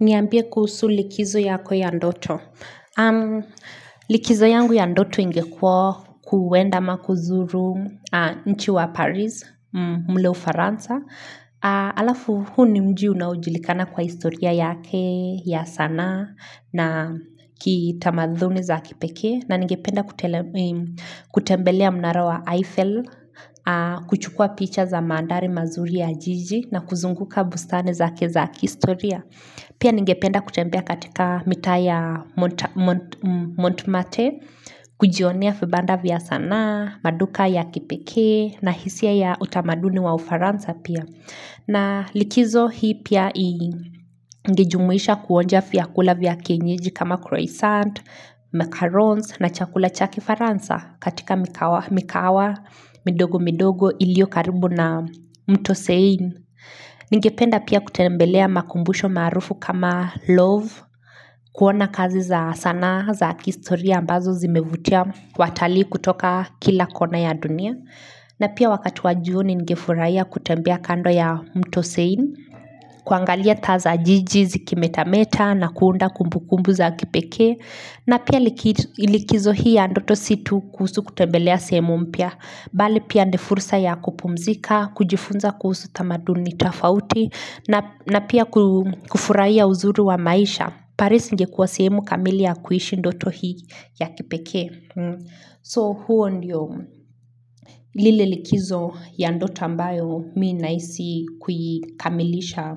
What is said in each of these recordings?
Niambie kuhusu likizo yako ya ndoto. Likizo yangu ya ndoto ingekuwa kuenda ama kuzuru mji wa Paris, mle ufaransa. Alafu huu ni mji unaojulikana kwa historia yake ya sanaa, na kitamaduni za kipekee. Na ningependa kutembelea mnara wa Eiffel, kuchukua picha za mandhari mazuri ya jiji, na kuzunguka bustani zake za kihistoria. Pia ningependa kutembea katika mitaa ya Montmarte, kujionea vibanda vya sanaa, maduka ya kipekee na hisia ya utamaduni wa ufaransa pia. Na likizo hii pia ingejumuisha kuonja vyakula vya kienyeji kama croissant, macarons na chakula cha kifaransa katika mikahawa midogo midogo iliyo karibu na mto Seine. Ningependa pia kutembelea makumbusho maarufu kama love, kuona kazi za sanaa za kihistoria ambazo zimevutia watalii kutoka kila kona ya dunia. Na pia wakati wa jioni ningefurahia kutembea kando ya mto Seine, kuangalia taa za jiji zikimetameta na kuunda kumbukumbu za kipekee. Na pia likizo hii ya ndoto si tu kuhusu kutembelea sehemu mpya bali pia ni fursa ya kupumzika, kujifunza kuhusu tamaduni tofauti na na pia kufurahia uzuri wa maisha. Paris ingekuwa sehemu kamili ya kuishi ndoto hii ya kipekee. So huo ndio lile likizo ya ndoto ambayo mimi nahisi kuikamilisha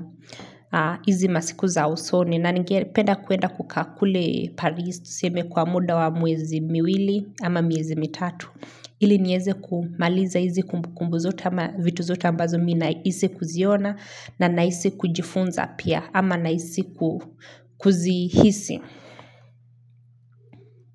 hizi masiku za usoni na ningependa kuenda kukaa kule Paris tuseme kwa muda wa miezi miwili ama miezi mitatu ili niweze kumaliza hizi kumbukumbu zote ama vitu zote ambazo mimi nahisi kuziona na ninahisi kujifunza pia ama nahisi kuzihisi.